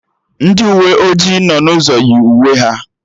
Ndị uwe ojii nọ n'ụzọ yi uwe ha